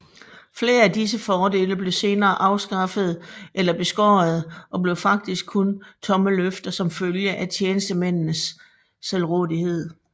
Flere af disse fordele blev senere afskaffede eller beskårede og blev faktisk kun tomme løfter som følge af tjenestemændenes selvrådighed